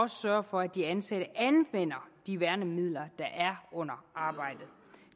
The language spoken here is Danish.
sørge for at de ansatte anvender de værnemidler der er under arbejdet